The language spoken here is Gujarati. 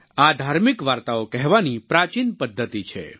આ ધાર્મિક વાર્તાઓ કહેવાની પ્રાચિન પદ્ધતિ છે